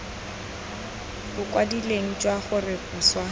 bo kwadilweng jwa gore boswa